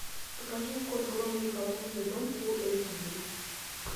покажи кот гром и заколдованный дом фул эйч ди